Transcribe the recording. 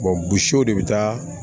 bugun de bɛ taa